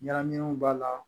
Ɲagaminenw b'a la